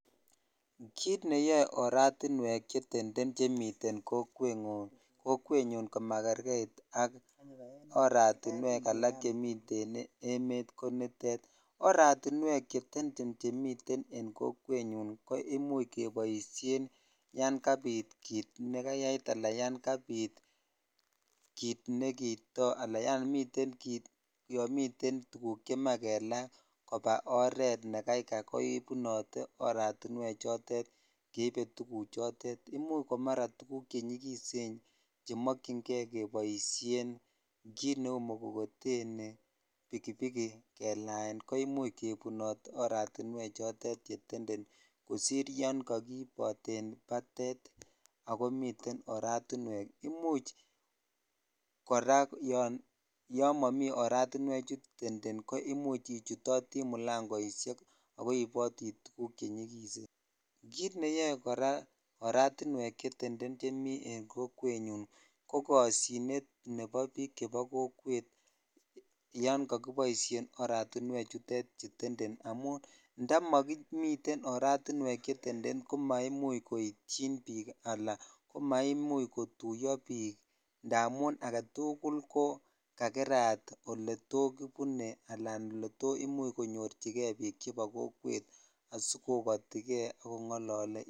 Kit neyoe oertiwek chetenden chemiten kokwenyun komakerkeit ak oratiwek alak chemiten emet ko nitetoratiwek chetenden chemiten en kokwenyun ko imuch keboisinyan kabit kit nekayait al yan kabit all inamda yan miten tuguk chemoche kelaa koba iret nekaikai kebunote oratiwek chotet jeibe tuguk chotet imuch ko mara tuguk chenyikisen yan mokyik kei keboisien kit neu mogogoteni bikibik kelaen ko imuch kebun oratiwek choton chetenden kosir yan kakiiboten batet ako mieten oratiwek imuch kora yon momi oratiwek chu tenden ko imuch ichutotii mulangoishekako ibotii tuguk chenyikisen kit neyoe kora oratiwek cheteten chemi en kokwenyun ko koshinet nebo bik chemiten en kokwet yan kakiboisien oratiwek chutet chu tenden indamun indamomiten oratiwek che tenden ko naimuch koityin bik ala ko maimuch kotuyo biikamun oldatukul ko kakerat oketokibu e ala oletot konyochikei bik ab kokwet asikokoti kei kongolole icheget.